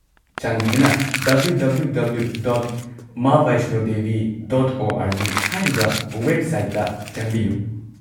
ꯆꯥꯟꯕꯤꯗꯨꯅ www.maavaishnodevi.org ꯍꯥꯏꯔꯤꯕ ꯋꯦꯕꯁꯥꯏꯠꯇ ꯆꯪꯕꯤꯌꯨ꯫